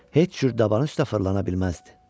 Heç cür dabanın üstə fırlana bilməzdi.